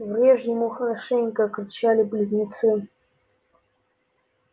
врежь ему хорошенько кричали близнецы